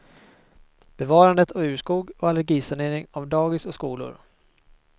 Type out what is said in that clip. Bevarandet av urskog och allergisanering av dagis och skolor.